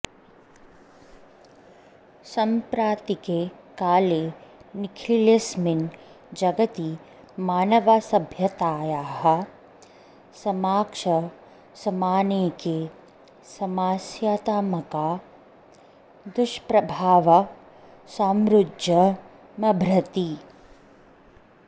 साम्प्रतिके काले निखिलेस्मिन् जगति मानवसभ्यतायाः समक्षमनेके समस्यात्मका दुष्प्रभावाः समुज्जृम्भते